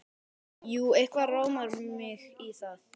Jú, eitthvað rámar mig í það.